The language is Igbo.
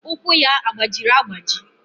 Ụkwụ ya agbajiri agbaji?